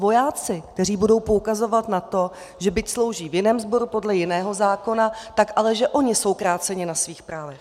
Vojáci, kteří budou poukazovat na to, že byť slouží v jiném sboru podle jiného zákona, tak ale že oni jsou kráceni na svých právech.